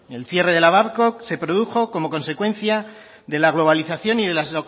el cierre de la babcock se produjo como consecuencia de la globalización y de las